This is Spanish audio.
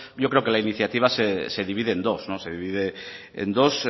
yo creo que la iniciativa se divide en dos se divide en dos